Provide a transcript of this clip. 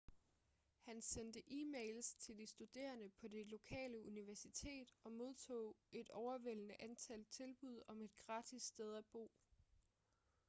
han sendte e-mails til de studerende på det lokale universitet og modtog et overvældende antal tilbud om et gratis sted at bo